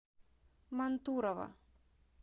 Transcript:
мантурово